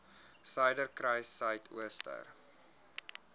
suiderkruissuidooster